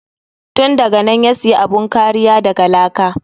Tun daganan ya siya bun kariya daga laka.